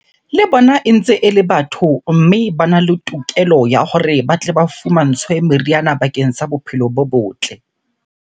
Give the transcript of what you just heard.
Le bona e ntse ele batho, mme bana le tokelo ya hore ba tle ba fumantshwe meriana bakeng sa bophelo bo botle.